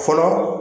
Fɔlɔ